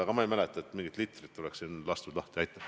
Aga ma ei mäleta, et mingeid litreid oleks siin lahti lastud.